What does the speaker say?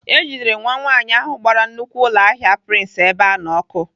E jidere nwa nwaanyị ahụ gbara nnukwu ụlọahịa Prince Ebeano ọkụ.